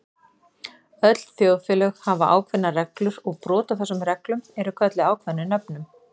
Öll þjóðfélög hafa ákveðnar reglur og brot á þessum reglum eru kölluð ákveðnum nöfnum.